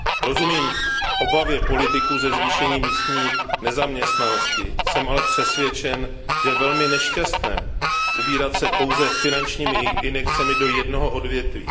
Rozumím obavě politiků ze zvýšení místní nezaměstnanosti, jsem ale přesvědčen, že je velmi nešťastné ubírat se pouze cestou finančních injekcí do jednoho odvětví.